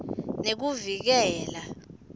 nekuvikela